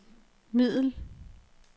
middel